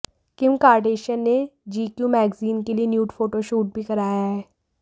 किम Kardashian ने G Q magazine के लिए न्यूड फोटोशूट भी कराया है